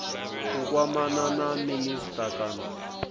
u kwamana na minisita kana